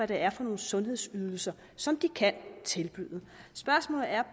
det er for nogle sundhedsydelser som de kan tilbyde spørgsmålet er